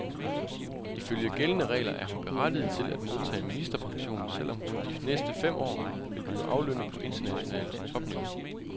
Ifølge gældende regler er hun berettiget til at modtage ministerpension, selv om hun de næste fem år vil blive aflønnet på internationalt topniveau.